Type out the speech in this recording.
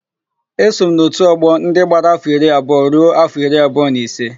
Eso m n'òtù ọgbọ ndị gbara áfọ̀ iri abụọ ruo áfọ̀ iri abụọ na ise.